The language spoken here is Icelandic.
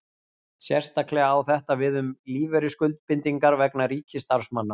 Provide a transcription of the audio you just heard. Sérstaklega á þetta við um lífeyrisskuldbindingar vegna ríkisstarfsmanna.